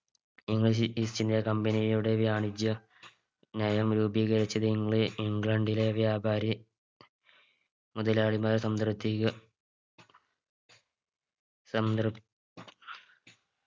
English East India Company യുടെ വാണിജ്യ നയം രൂപീകരിച്ചത് ഇംഗ്ല ഇംഗ്ലണ്ടിലെ വ്യാപാരി മുതലാളിമാർ സംതൃപ്തിക സംതൃപ്